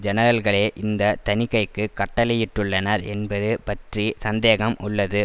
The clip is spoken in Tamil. ஜெனரல்களே இந்த தணிக்கைக்கு கட்டளையிட்டுள்ளனர் என்பது பற்றி சந்தேகம் உள்ளது